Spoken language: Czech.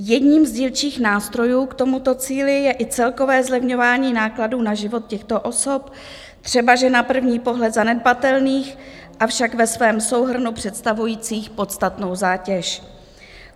Jedním z dílčích nástrojů k tomuto cíli je i celkové zlevňování nákladů na život těchto osob, třebaže na první pohled zanedbatelných, avšak ve svém souhrnu představujících podstatnou zátěž.